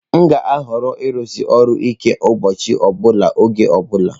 M ga-ahọrọ ịrụsi ọrụ ike ụbọchị ọ bụla oge ọ bụla.